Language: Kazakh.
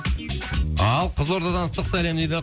ал қызылордадан ыстық сәлем дейді